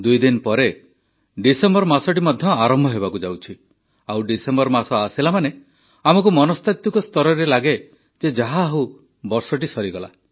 ଦୁଇ ଦିନ ପରେ ଡିସେମ୍ବର ମାସଟି ମଧ୍ୟ ଆରମ୍ଭ ହେବାକୁ ଯାଉଛି ଆଉ ଡିସେମ୍ବର ମାସ ଆସିଲା ମାନେ ଆମକୁ ମନସ୍ତାତ୍ୱିକ ସ୍ତରରେ ଲାଗେ ଯେ ଯାହାହେଉ ବର୍ଷଟି ସରିଗଲା